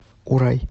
урай